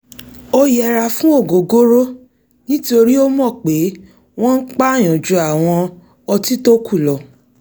ó yẹra fún ògógóró nítorí ó mọ̀ pé wọ́n ń pàyàn ju àwọn ọtí tókù lọ